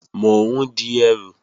Mò ń di ẹrù